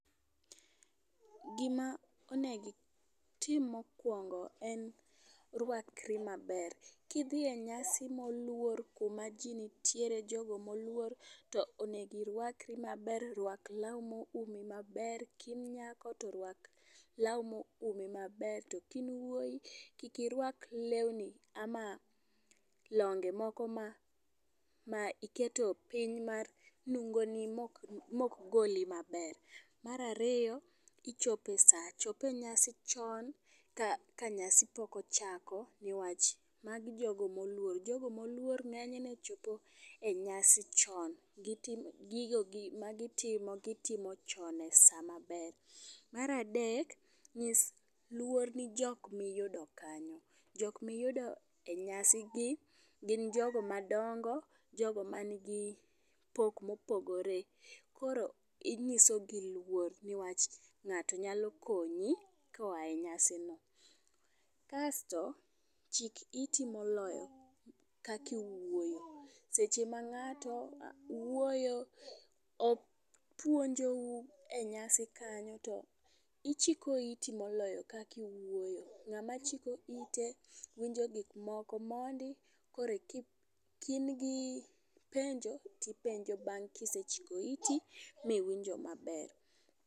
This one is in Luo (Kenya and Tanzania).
Gima onego itim mokuongo en rwakri maber. Kidhi e nyasi moluor kuma ji nitiere jogo moluor to onego irwakri maber. Rwak law ma oumi maber. Ka in nyako to rwak law ma oumi maber, to ka in wuoyi kik irwak lewni ama longe moko ma ma iketo piny mar nungo ni ma okgoli maber. Mar ariyo, ichopo e saa. Chop e nyasi chon ka, nyasi pok ochako niwach magi jogo moluor. Jogo moluor ng'enyne chop e nyasi chon, gitim, gigo gi ma gitimo gitimo chon e sa maber. Mar adek, nyis luor ni jok miyudo kanyo. Jok miyudo e nyasi gi gin jogo madongo, jogo ma nigi pok mopogore. Koro inyiso gi luor niwach ng'ato nyalo konyi koa e nyasi no. Kasto, chik iti moloyo kaka iwuoyo. Seche ma ng'ato wuoyo, opuonjo u e nyasi kanyo, to ichiko iti moloyo kaka iwuoyo. Ng'ama chiko ite, winjo gik moko mondi koro e ka in gi penjo tipenjo bang' kisechiko iti miwinjo maber.